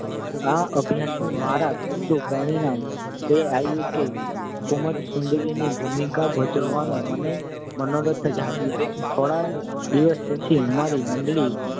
આ અભ્યાસનું મારા પૂરતું પરિણામ એ આવ્યું કે કુમુદસુંદરીની ભૂમિકા ભજવવાનો મને મનોરથ જાગ્યો. થોડાં વર્ષ પછી અમારી મંડળી